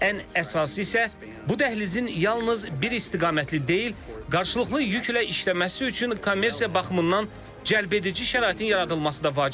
Ən əsası isə bu dəhlizin yalnız bir istiqamətli deyil, qarşılıqlı yüklə işləməsi üçün kommersiya baxımından cəlbedici şəraitin yaradılması da vacibdir.